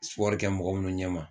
kɛ mɔgɔ minnu ɲɛ ma